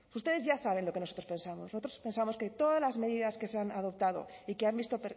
ustedes ya saben lo que nosotros pensamos nosotros pensamos que todas las medidas que se han adoptado y que han visto